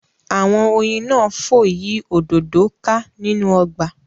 Awọn oyin náà fò yí òdodo ká nínú ọgba